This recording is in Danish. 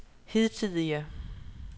hidtidige